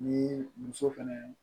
Ni muso fɛnɛ